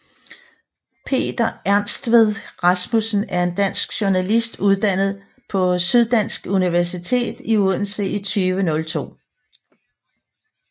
Peter Ernstved Rasmussen er en dansk journalist uddannet fra Syddansk Universitet i Odense i 2002